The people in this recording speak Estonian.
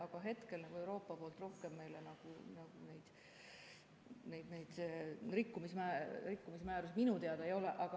Aga hetkel Euroopa poolt rohkem meile rikkumismäärusi minu teada ei ole.